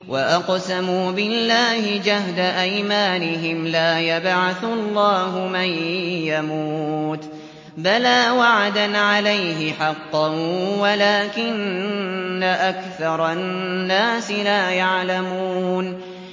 وَأَقْسَمُوا بِاللَّهِ جَهْدَ أَيْمَانِهِمْ ۙ لَا يَبْعَثُ اللَّهُ مَن يَمُوتُ ۚ بَلَىٰ وَعْدًا عَلَيْهِ حَقًّا وَلَٰكِنَّ أَكْثَرَ النَّاسِ لَا يَعْلَمُونَ